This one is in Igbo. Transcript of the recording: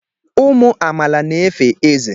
Ụmụ amaala na-efe Eze